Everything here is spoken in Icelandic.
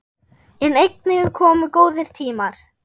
En einnig komu góðir tímar.